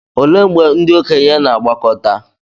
olee mgbe ndị okenye na-agbakọta